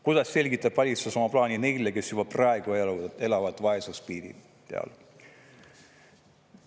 Kuidas selgitab valitsus oma plaani neile, kes juba praegu ja elavad vaesuspiiri peal?